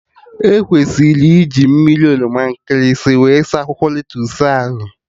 E kwesịrị iji mmiri oroma nkịlịsị wee saa akwụkwọ lettusu ahụ